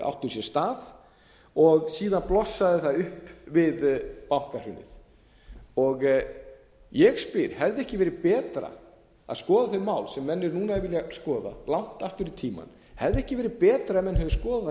áttu sér stað og síðan blossaði það upp við bankahrunið ég spyr hefði ekki verið betra að skoða þau mál sem menn núna vilja skoða langt aftur í tímann hefði ekki verið betra ef menn hefðu skoðað það